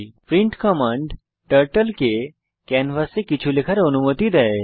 print command turtle কে ক্যানভাসে কিছু লেখার অনুমতি দেয়